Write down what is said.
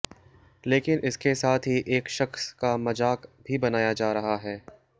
लेकिन इसके साथ ही एक शख्स का मजाक भी बनाया जा रहा हैं